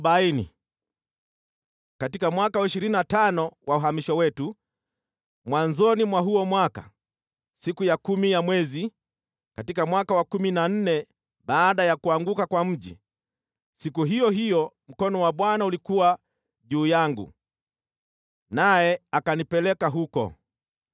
Katika mwaka wa ishirini na tano wa uhamisho wetu, mwanzoni mwa huo mwaka, siku ya kumi ya mwezi, katika mwaka wa kumi na nne baada ya kuanguka kwa mji, siku hiyo hiyo mkono wa Bwana ulikuwa juu yangu, naye akanipeleka huko.